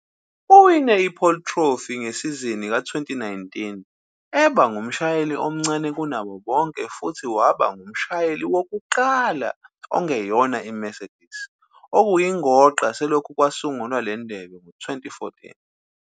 Uwine iPole Trophy ngesizini ka-2019 eba ngumshayeli omncane kunabo bonke futhi waba ngumshayeli wokuqala ongeyona iMercedes ukuyinqoba selokhu kwasungulwa le ndebe ngo-2014.